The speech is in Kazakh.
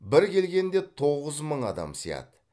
бір келгенде тоғыз мың адам сияды